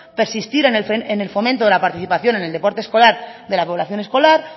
persistir en el fomento de la participación en el deporte escolar de la población escolar